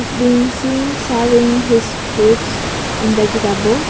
It's being seen selling having his fruits and vegetables.